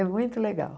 É muito legal.